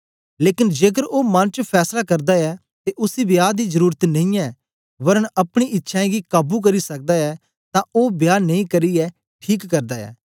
लेकन जेकर ओ मन च फैसला करदा ऐ ते उसी विवाह दी जरुरत नेई ऐ वरन अपनी इच्छ्यें गी काबू करी सकदा ऐ तां ओ विवाह नेई करियै ठीक करदा ऐ